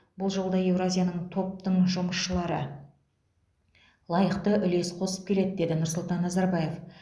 бұл жолда еуразияның топтың жұмысшылары лайықты үлес қосып келеді деді нұрсұлтан назарбаев